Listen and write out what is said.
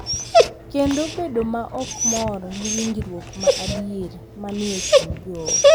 Kendo bedo ma ok mor gi winjruok ma adier ma ni e kind joot.